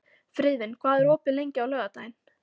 Friðvin, hvað er opið lengi á laugardaginn?